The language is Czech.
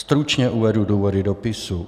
Stručně uvedu důvody dopisu.